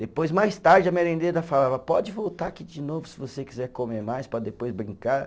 Depois, mais tarde, a merendeira falava, pode voltar aqui de novo se você quiser comer mais para depois brincar.